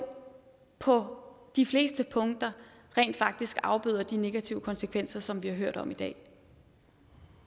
på de fleste punkter rent faktisk afbøder de negative konsekvenser som vi har hørt om i dag